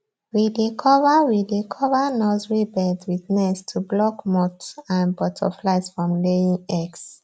we dey cover we dey cover nursery beds with nets to block moths and butterflies from laying eggs